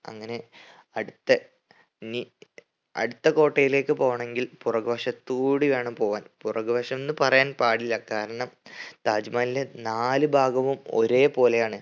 അങ്ങനെ അടുത്ത നി അടുത്ത കോട്ടയിലേക്ക് പോകണെങ്കിൽ പുറക് വശത്തൂടി വേണം പോവാൻ. പുറകെ വശമെന്ന് പറയാൻ പാടില്ല കാരണം താജ് മഹലിന്റെ നാല് ഭാഗവും ഒരേ പോലെയാണ്.